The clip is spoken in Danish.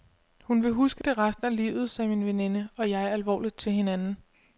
Hun vil huske det resten af livet, sagde min veninde og jeg alvorligt til hinanden.